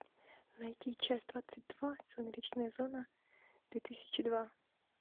найти часть двадцать два сумеречная зона две тысячи два